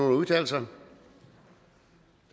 at udtale sig